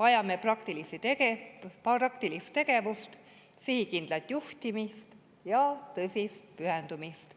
Vajame praktilist tegevust, sihikindlat juhtimist ja tõsist pühendumist,